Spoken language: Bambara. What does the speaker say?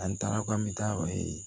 An taara k'an bɛ taa